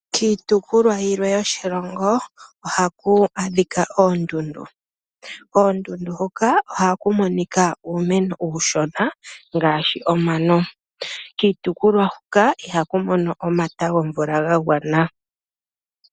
Kiitopolwa yilwe yoshilongo ohaku adhika oondundu. Koondundu hoka ohaku monika uumeno uushona ngaashi omano. Kiitopolwa hoka ihaku mono omata gomvula ga gwana.